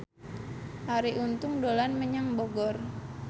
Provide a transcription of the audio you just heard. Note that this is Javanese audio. Arie Untung dolan menyang Bogor